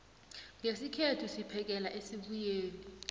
ngesikhethu siphekela esibuyeni